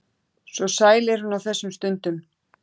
Svo sæl er hún á þessum stundum.